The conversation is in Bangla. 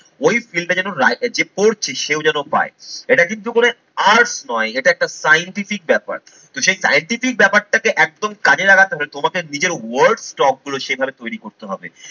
ওই fill টা যেন reader যে করছে সেও যেন পায়। এটা কিন্তু করে art নয় এটা একটা scientific ব্যাপার। তো সেই scientific ব্যাপারটাকে একদম কাজে লাগাতে হবে তোমাকে নিজের word stock গুলো সেভাবে তৈরি করতে হবে।